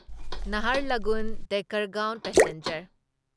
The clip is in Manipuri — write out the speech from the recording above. ꯅꯍꯥꯔꯂꯒꯨꯟ ꯗꯦꯀꯔꯒꯥꯎꯟ ꯄꯦꯁꯦꯟꯖꯔ